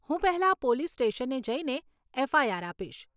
હું પહેલાં પોલીસ સ્ટેશને જઈને એફઆઈઆર આપીશ.